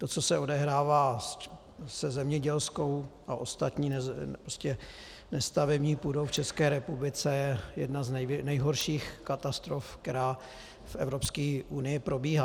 To, co se odehrává se zemědělskou a ostatní nestavební půdou v České republice, je jedna z nejhorších katastrof, která v Evropské unii probíhá.